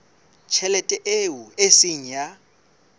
tjhelete eo e seng ya